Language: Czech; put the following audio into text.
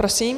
Prosím.